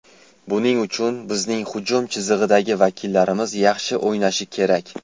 Buning uchun bizning hujum chizig‘idagi vakillarimiz yaxshi o‘ynashi kerak.